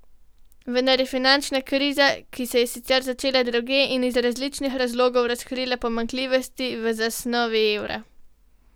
Vendar je finančna kriza, ki se je sicer začela drugje in iz drugačnih razlogov, razkrila pomanjkljivosti v zasnovi evra.